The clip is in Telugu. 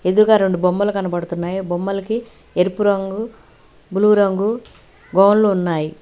ఎదురుగా రెండు బొమ్మలు కనబడుతున్నాయి ఆ బొమ్మలకి ఎరుపు రంగు బ్లూ రంగు గౌన్లు ఉన్నాయి.